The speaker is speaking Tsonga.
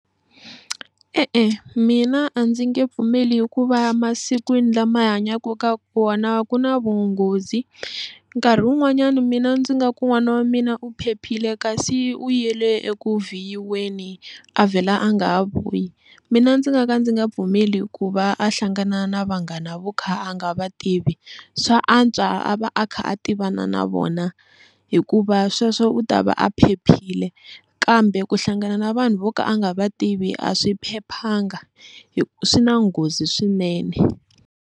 E-e mina a ndzi nge pfumeli hikuva ya masikwini lama hi hanyaka ka wona ku na vunghozi nkarhi wun'wanyana mina ndzi nga ku n'wana wa mina u phephile kasi u yele eku vhiyiweni a vhela a nga ha vuyi, mina ndzi nga ka ndzi nga pfumeli hikuva a hlangana na vanghana vo kha a nga va tivi swa antswa a va a kha a tivana na vona hikuva sweswo u ta va a phephile kambe ku hlangana na vanhu vo ka a nga va tivi a swi phephanga swi na nghozi swinene.